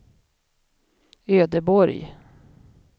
Ödeborg